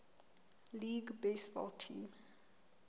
league baseball team